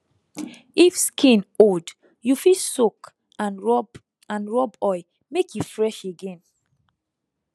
if skin old you fit soak and rub and rub oil make e fresh again